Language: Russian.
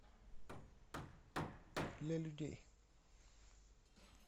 для людей